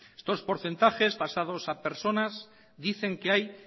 estos porcentajes pasados a personas dicen que hay